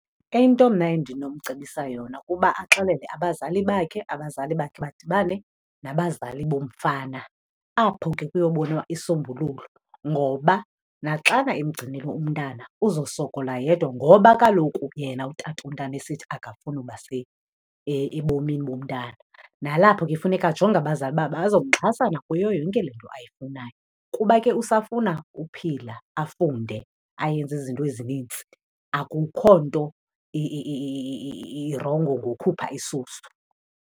Into mna endinomcebisa yona kuba axelele abazali bakhe, abazali bakhe badibane nabazali bomfana. Apho ke kuyobonwa isombululo ngoba naxana emgcinile umntana, uzosokola yedwa ngoba kaloku yena utatomntana esithi akafuni uba ebomini bomntana. Nalapho ke funeka ajonge abazali uba bazomxhasa na kuyo yonke le nto ayifunayo kuba ke usafuna uphila, afunde, ayenze izinto ezinintsi. Akukho nto irongo ngokhupha isisu.